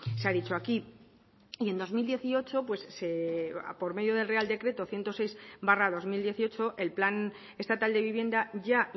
se ha dicho aquí y en dos mil dieciocho por medio del real decreto ciento seis barra dos mil dieciocho el plan estatal de vivienda ya